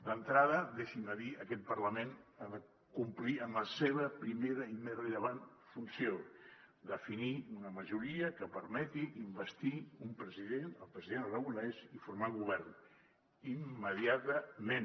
d’entrada deixin m’ho dir aquest parlament ha de complir amb la seva primera i més rellevant funció definir una majoria que permeti investir un president el president aragonès i formar govern immediatament